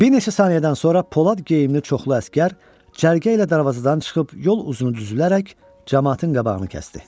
Bir neçə saniyədən sonra Polad geyimli çoxlu əsgər cərgə ilə darvazadan çıxıb yol uzunu düzülərək camaatın qabağını kəsdi.